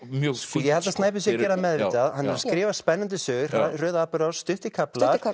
mjög fínt ég held að Snæbjörn sé það meðvitað hann er að skrifa spennandi sögu hröð atburðarás stuttir kaflar